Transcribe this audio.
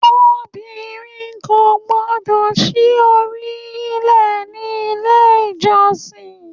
Obìnrin kò gbọ́dọ̀ sí orí lè ní ilé ìjọsìn.